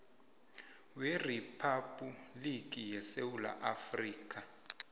weriphabhuliki yesewula afrika